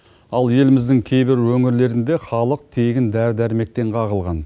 ал еліміздің кейбір өңірлерінде халық тегін дәрі дәрмектен қағылған